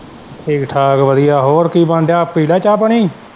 ਠੀਕ-ਠਾਕ ਵਧੀਆ ਹੋਰ ਕੀ ਬਣਨ ਦਿਆਂ ਪੀ ਲਿਆ ਚਾਹ-ਪਾਣੀ।